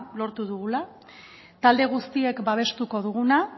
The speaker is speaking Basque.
lortu dugula talde guztiek babestuko duguna